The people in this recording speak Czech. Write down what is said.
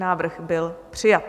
Návrh byl přijat.